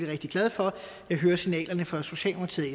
rigtig glad for jeg hører signalerne fra socialdemokratiet